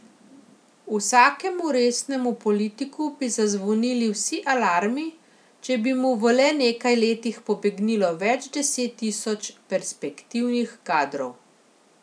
Vsakemu resnemu politiku bi zazvonili vsi alarmi, če bi mu v le nekaj letih pobegnilo več deset tisoč perspektivnih kadrov.